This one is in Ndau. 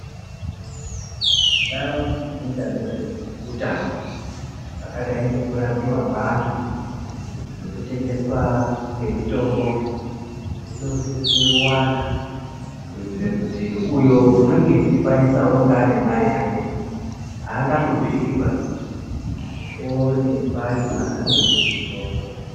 Ndau dzinoita nezve utano zvakadai ngeku rapiwa kwe antu neku tengeswa kwe mitombo dzino sise kuwanda kuitire kuti uyo unenge echi kwanisa unonga ane mari yake haanga hlupiki baa kuti owone pari paanga tenge mutombo.